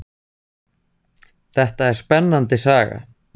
Þetta er spennandi saga.